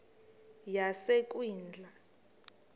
yasekwindla